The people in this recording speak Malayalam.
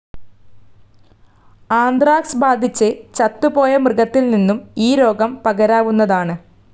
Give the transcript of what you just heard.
ആന്ത്രാക്സ്‌ ബാധിച്ച് ചത്തുപോയ മൃഗത്തിൽ നിന്നും ഈ രോഗം പകരാവുന്നതാണ്.